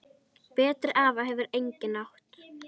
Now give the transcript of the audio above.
Betri afa hefur enginn átt.